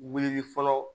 Wulili fɔlɔ